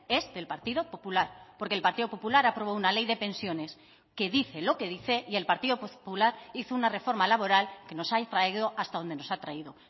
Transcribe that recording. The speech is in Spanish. es del partido popular porque el partido popular aprobó una ley de pensiones que dice lo que dice y el partido popular hizo una reforma laboral que nos ha traído hasta donde nos ha traído